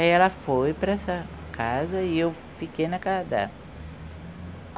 Aí ela foi para essa casa e eu fiquei na casa dela.